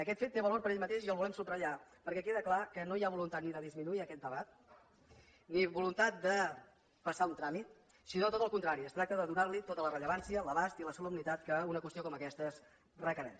aquest fet té valor per ell mateix i el volem subratllar perquè queda clar que no hi ha voluntat ni de disminuir aquest debat ni voluntat de passar un tràmit sinó tot el contrari es tracta de donar hi tota la rellevància l’abast i la solemnitat que una qüestió com aquesta requereix